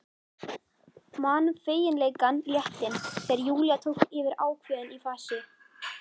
Man feginleikann, léttinn, þegar Júlía tók yfir ákveðin í fasi.